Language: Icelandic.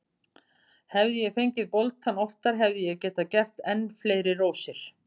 Hefði ég fengið boltann oftar hefði ég getað gert enn fleiri rósir.